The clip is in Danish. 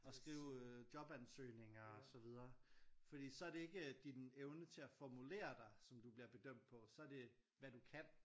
Og skrive jobansøgninger og så videre fordi så er det ikke din evne til at formulere dig som du bliver bedømt på så det hvad du kan